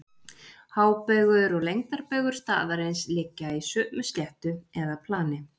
hábaugur og lengdarbaugur staðarins liggja í sömu sléttu eða plani